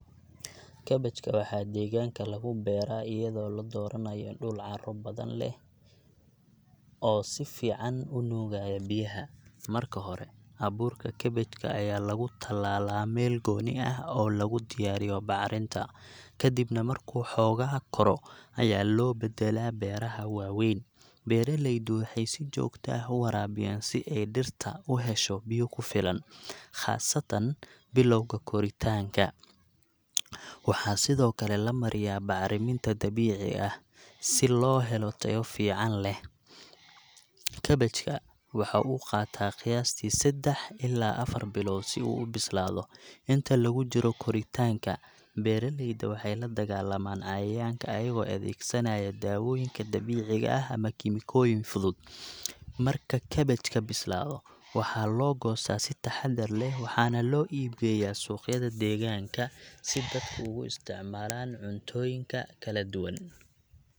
Kabaajka waxaa deegaanka lagu beeraa iyadoo la dooranayo dhul carro hodan ah leh oo si fiican u nuugaya biyaha. Marka hore, abuurka kabaajka ayaa lagu tallaalaa meel gooni ah oo lagu diyaariyo bacrinta, kadibna markuu xoogaa koro ayaa loo beddelaa beeraha waaweyn. Beeraleydu waxay si joogta ah u waraabiyaan si ay dhirta u hesho biyo ku filan, khaasatan bilowga koritaanka. Waxaa sidoo kale la mariyaa bacriminta dabiici ah si loo helo tayo fiican leh. Kabaajka waxa uu qaataa qiyaastii seddax ilaa afar bilood si uu u bislaado. Inta lagu jiro koritaanka, beeraleyda waxay la dagaallamaan cayayaanka iyagoo adeegsanaya dawooyinka dabiiciga ah ama kiimikooyin fudud. Marka kabaajka bislaado, waxaa loo goostaa si taxaddar leh waxaana loo iib geeyaa suuqyada deegaanka si dadku ugu isticmaalaan cuntooyinka kala duwan.